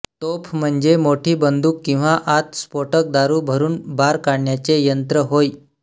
तोफ म्हणजे मोठी बंदूक किंवा आत स्फोटक दारू भरून बार काढण्याचे यंत्र होय